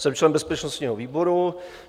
Jsem člen bezpečnostního výboru.